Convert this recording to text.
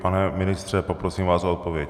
Pane ministře, poprosím vás o odpověď.